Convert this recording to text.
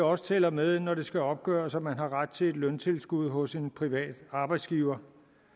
også tæller med når det skal opgøres om man har ret til et løntilskud hos en privat arbejdsgiver